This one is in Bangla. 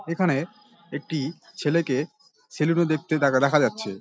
এখানে একটি ছেলেকে সেলুনে দেখতে দেখা যাচ্ছে।